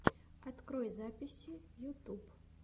открой записи ютюб